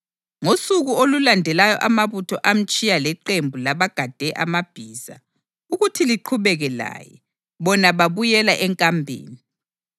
Ngosuku olulandelayo amabutho amtshiya leqembu labagade amabhiza ukuthi liqhubeke laye, bona babuyela enkambeni.